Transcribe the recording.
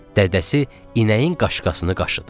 Dədəsi inəyin qaşqasını qaşıdı.